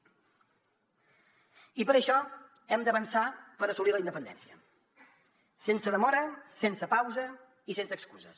i per això hem d’avançar per assolir la independència sense demora sense pausa i sense excuses